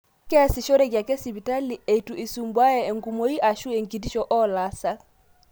Keesishoreki ake sipitali, eitu esumbuaya enkumoi ashu enkitisho oolaasak